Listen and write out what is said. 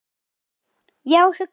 Já, hugsa sér!